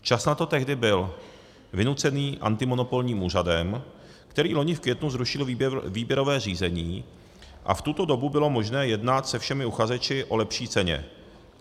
Čas na to tehdy byl - vynucený antimonopolním úřadem, který loni v květnu zrušil výběrové řízení, a v tuto dobu bylo možné jednat se všemi uchazeči o lepší ceně.